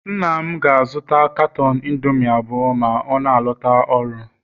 nna m ga-azụta caton indomie abụọ ma ọ na-alọta ọrụ